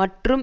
மற்றும்